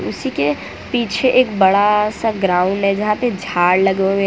उसी के पीछे एक बड़ा सा ग्राउंड है जहां पे झाड़ लगे हुए--